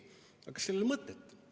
Aga kas sellel on mõtet?